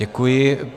Děkuji.